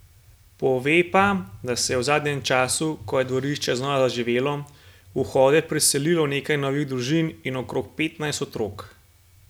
Pove pa, da se je v zadnjem času, ko je dvorišče znova zaživelo, v vhode priselilo nekaj novih družin in okrog petnajst otrok.